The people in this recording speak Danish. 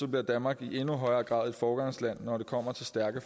bliver danmark i endnu højere grad et foregangsland når det kommer til stærke